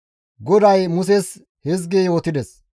GODAY Muses hizgi yootides,